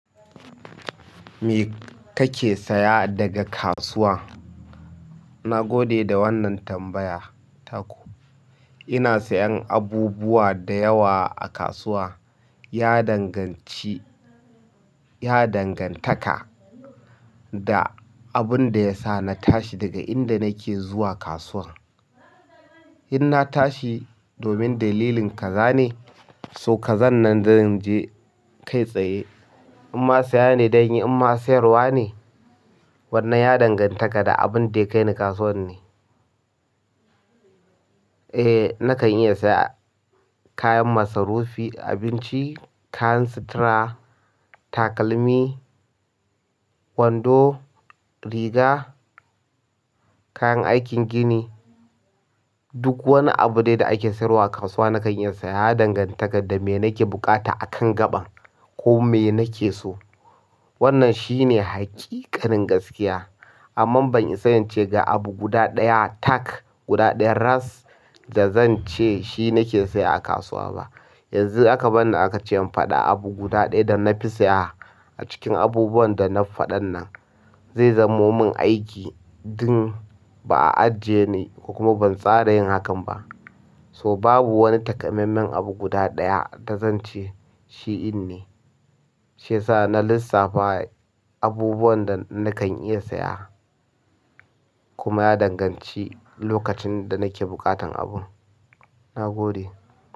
Me kake saya daga kasuwa? Na gode da wannan tambaya taku. Ina sayan abubuwa da yawa a kasuwa. Ya danganci, ya dangantaka da abun da ya sa na tashi daga inda nake zuwa kasuwar. In na tashi domin dalilin kaza ne, so kazan nan zan je kai tsaye. Imma saya ne ɗanyi imma sayarwa ne, wannan ya dangantaka da abun da ya kai ni kasuwar ne. Eh, nakan iya saya kayan masarufi, abinci, kayan sutura, takalmi, wando, riga, kayan aikin gini. Duk wani abu de da ake sayarwa a kasuwa nakan iya saya. Ya dangantaka da me nake buƙata a kan gaba ko me nake so. Wannan shine haƙiƙarin gaskiya. Amma ban isa in ce ga abu guda ɗaya tak guda ɗaya ras da zan ce shi nake siya a kasuwa ba yanzu aka bani aka ce in faɗa abu guda ɗaya da na fi saya a cikin abubuwan da na faɗan nan. Zai zamo mun aiki ɗin ba a aje ni ko kuma ban tsara yin hakan ba. To babu wani takamaiman abu guda ɗaya da zan ce shi inne. Shi ya sa na lissafa abubuwan da nakan iya saya kuma ya danganci lokacin da nake buƙatan abun. Na gode.